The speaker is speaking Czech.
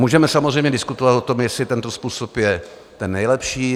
Můžeme samozřejmě diskutovat o tom, jestli tento způsob je ten nejlepší.